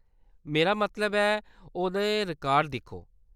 मेरा मतलब ऐ, ओह्‌दे रिकार्ड दिक्खो।